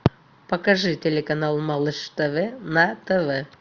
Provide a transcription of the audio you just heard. покажи телеканал малыш тв на тв